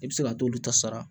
I bɛ se ka t'olu ta sara